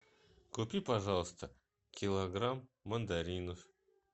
купи пожалуйста килограмм мандаринов